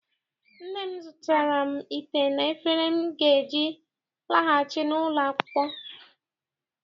Nne m zụtaara m ite na efere m ga-eji laghachi n'ụlọ akwụkwọ.